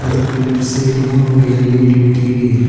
இதுக்கு லெஃப்ட் சைடுல ஒரு எல்_இ_டி டி_வி இரு--.